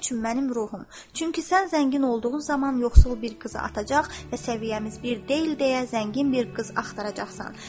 Çünki sən zəngin olduğun zaman yoxsul bir qızı atacaq və səviyyəmiz bir deyil deyə zəngin bir qız axtaracaqsan.